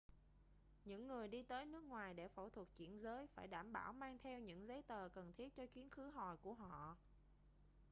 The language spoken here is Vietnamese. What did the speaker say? những người đi tới nước ngoài để phẫu thuật chuyển giới phải đảm bảo mang theo những giấy tờ cần thiết cho chuyến khứ hồi của họ